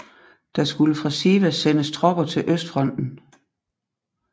Der skulle fra Sivas sendes tropper til østfronten